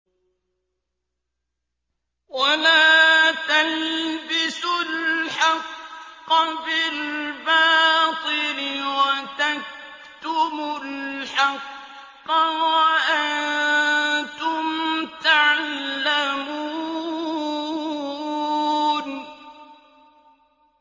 وَلَا تَلْبِسُوا الْحَقَّ بِالْبَاطِلِ وَتَكْتُمُوا الْحَقَّ وَأَنتُمْ تَعْلَمُونَ